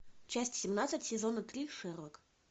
часть семнадцать сезона три шерлок